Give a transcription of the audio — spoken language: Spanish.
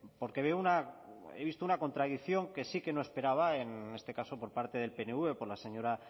porque veo una he visto una contradicción que sí que no esperaba en este caso por parte del pnv por la señora